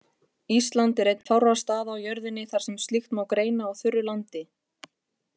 Ísland er einn fárra staða á jörðinni þar sem slíkt má greina á þurru landi.